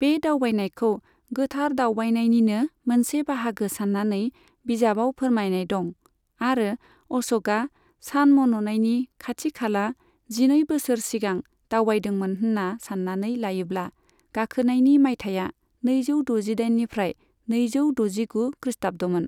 बे दावबायनायखौ गोथार दावबायनायनिनो मोनसे बाहागो सान्नानै बिजाबाव फोरमायनाय दं, आरो अश'कआ सान मन'नायनि खाथि खाला जिनै बोसोर सिगां दावबायदोंमोन होन्ना सान्नानै लायोब्ला, गाखोनायनि मायथाइया नैजौ द'जिदाइननिफ्राय नैजौ द'जिगु खृष्टाब्दमोन।